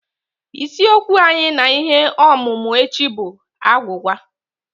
Isiokwu anyị na ihe ọmụmụ echi bụ agwụgwa.